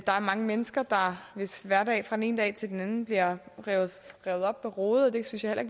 er mange mennesker hvis hverdag fra den ene dag til den anden bliver revet op med rode og det synes jeg